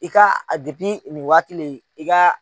I ka nin waati in i ka